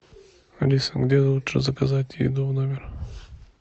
алиса где лучше заказать еду в номер